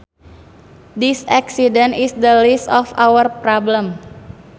This accident is the least of our problems